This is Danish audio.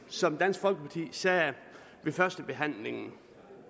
som dansk folkeparti sagde ved førstebehandlingen